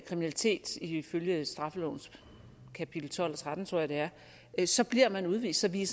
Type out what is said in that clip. kriminalitet ifølge straffelovens kapitel tolv og tretten tror jeg det er så bliver man udvist så vi